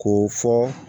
K'o fɔ